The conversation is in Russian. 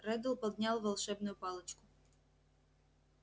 реддл поднял волшебную палочку